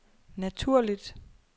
naturligt